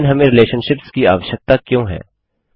लेकिन हमें रिलेशनशिप्स की आवश्यकता क्यों है